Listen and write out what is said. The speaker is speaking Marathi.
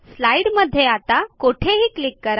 स्लाईडमध्ये आता कोठेही क्लिक करा